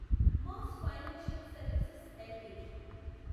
mass financial services LTD